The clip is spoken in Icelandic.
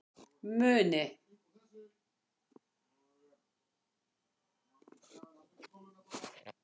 Muni